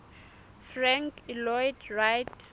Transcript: frank lloyd wright